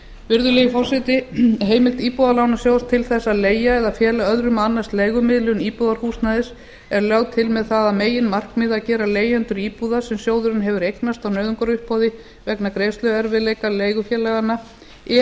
virðulegi forseti heimild íbúðalánasjóðs til þess að leigja eða fela öðrum að annast leigumiðlun íbúðarhúsnæðis er lögð til með það að meginmarkmiði að gera leigjendum íbúða sem sjóðurinn hefur eignast á nauðungaruppboði vegna greiðsluerfiðleika leigufélaganna